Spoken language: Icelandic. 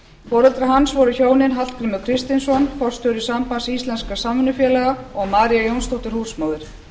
foreldrar hans voru hjónin hallgrímur kristinsson forstjóri sambands íslenskra samvinnufélaga og maría jónsdóttir húsmóðir